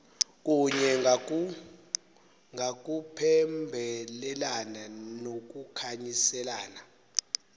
kunye ngakuphembelelana nokukhanyiselana